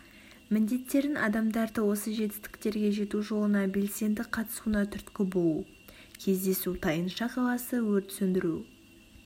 міндеттерін адамдарды осы жетістіктерге жету жолына белсенді қатысуына түрткі болу кездесу тайынша қаласы өрт сөндіру